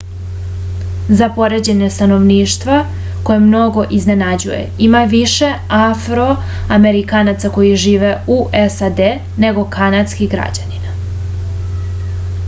za poređenje stanovništva koje mnoge iznenađuje ima više afroamerikanaca koji žive u sad nego kanadskih građanina